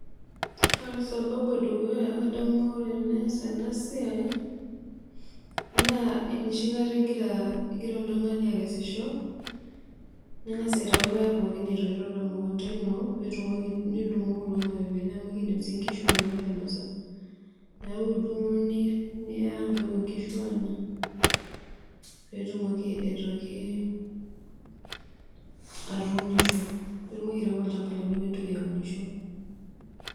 Ore sababu edukuya adamu ore tiniyas ena siai naa enoshikata igirra oltungani akesisho ningas aitayu ilpayek pookin oo toyuto temukunda ino nitumoki atudungo kulo mapeepeyeni pee ingishu inono ainosa neeku idungu Niya aang" pee puo ingishu aanya pee etumoki aitoki atuunisho nitumoki airemo alchamba lino pee intoki aunisho.